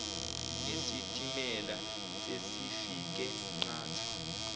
nesitimela sesifike qatha